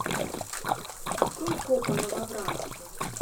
открой копы новобранцы